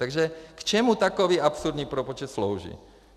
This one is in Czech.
Takže k čemu takový absurdní propočet slouží?